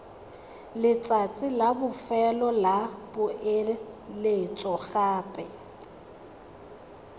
letsatsi la bofelo la poeletsogape